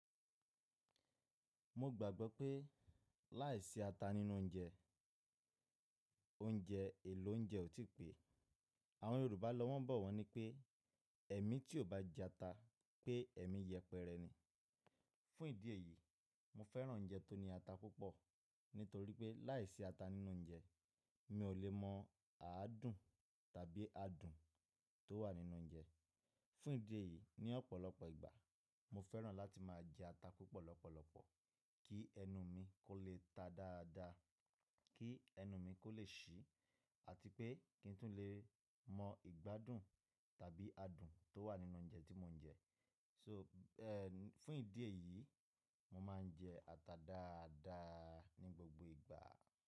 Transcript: Mo gbàgbọ́ pé láìsí ata nínú oúnjẹ, oúnjẹ èlò oúnjẹ ò tí pẹ́. Àwọn Yorùbá lọ́wọ́ ń bọ̀ wọ́n ní pé, “Ẹ̀mí tí ò bá jẹ ata pé ẹ̀mí yẹpẹrẹ ni.” Fún ìdí èyí, mo fẹ́ràn oúnjẹ tó ní ata púpọ̀ nítorí pé láìsí ata nínú oúnjẹ, mi ò lè mọ àádùn tàbí adùn tó wà nínú oúnjẹ. Fún ìdí èyí, ní ọ̀pọ̀lọpọ̀ ìgbà mo fẹ́ràn láti máa jẹ ata púpọ̀ lọ́pọ̀lọpọ̀ kí ẹnu mi kó lè ta dáadáa, kí ẹnu mi kó lè ṣí àti pé kí n tún lè mọ ìgbádùn tàbí adùn tó wà nínú oúnjẹ tí mò ń jẹ. So, fún ìdí èyí, mo máa ń jẹ ata dáadáa ní gbogbo ìgbà.